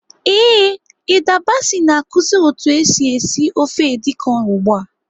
Ee, Hilda Baci na-akụzi otu esi esi ofe edi kan ugbu a.